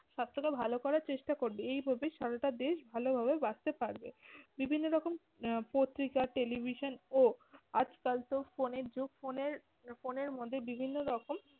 স্বাস্থ্যকে ভালো করার চেষ্টা করবে। এই ভাবেই সারাটা দেশ ভালোভাবে বাঁচতে পারবে। বিভিন্ন রকম আহ পত্রিকা television ও আজকাল তো ফোন এর যুগ। ফোন এর ফোন এর মধ্যে বিভিন্ন রকম